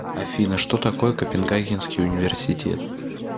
афина что такое копенгагенский университет